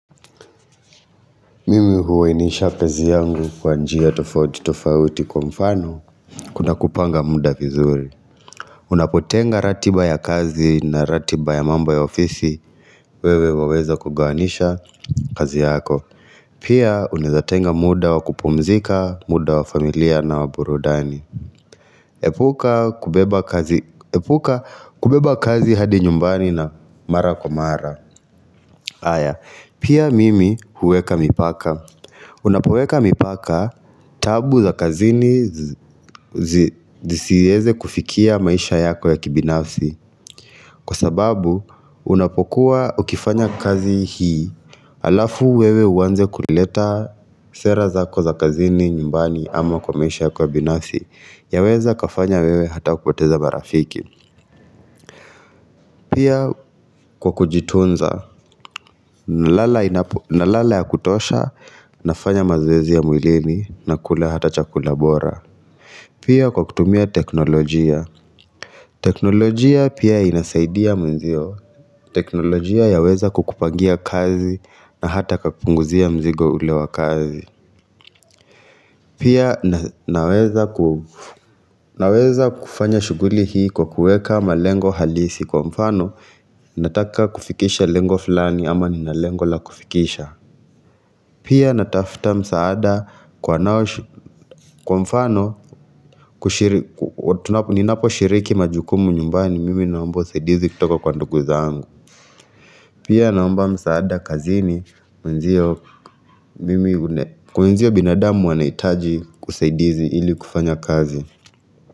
Mimi huwainisha penzi yangu kwa njia tofauti tofauti kwa mfano kuna kupanga muda vizuri Unapotenga ratiba ya kazi na ratiba ya mambo ya ofisi wewe waweza kugawanisha kazi yako Pia unezatenga muda wa kupumzika, muda wa familia na wa burudani Epuka kubeba kazi hadi nyumbani na mara kwa mara. Haya Pia mimi huweka mipaka Unapoweka mipaka taabu za kazini zisieze kufikia maisha yako ya kibinafsi Kwa sababu unapokuwa ukifanya kazi hii Alafu wewe uwanze kuleta sera zako za kazini nyumbani ama kwa maisha yako ya binafsi Yaweza kafanya wewe hata kupoteza marafiki Pia kwa kujitunza na lala ya kutosha nafanya mazoezi ya mwilini nakula hata chakula bora Pia kwa kutumia teknolojia. Teknolojia pia inasaidia mwenzio. Teknolojia yaweza kukupangia kazi na hata kakupunguzia mzigo ule wa kazi. Pia naweza kufanya shughuli hii kwa kuweka malengo halisi kwa mfano. Nataka kufikisha lengo fulani ama nina lengo la kufikisha. Pia natafuta msaada kwa mfano Ninapo shiriki majukumu nyumbani mimi naombo usaidizi kutoka kwa ndugu zangu pia naomba msaada kazini Wenzio binadamu wanahitaji usaidizi ili kufanya kazi.